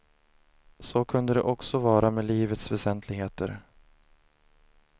Så kunde det också vara med livets väsentligheter.